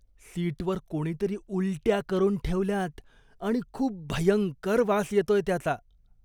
सिटवर कोणीतरी उलट्या करून ठेवल्यात आणि खूप भयंकर वास येतोय त्याचा.